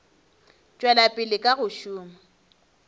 tšwela pele ka go šoma